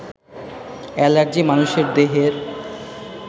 allergy মানুষের দেহের